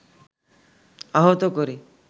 আহত করে